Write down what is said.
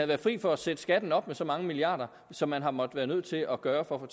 været fri for at sætte skatten op med så mange milliarder som man har måttet være nødt til at gøre for at